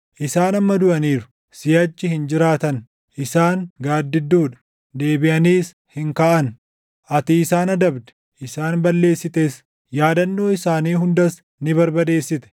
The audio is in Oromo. Isaan amma duʼaniiru; siʼachi hin jiraatan; isaan gaaddidduu dha; deebiʼaniis hin kaʼan. Ati isaan adabde; isaan balleessites; yaadannoo isaanii hundas ni barbadeessite.